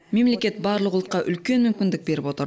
мемлекет барлық ұлтқа үлкен мүмкіндік беріп отыр